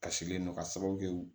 Kasilen don ka sababu kɛ